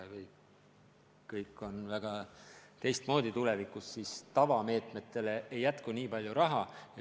Kõik on tulevikus väga teistmoodi ja tavameetmetele ei jätku kuigi palju raha.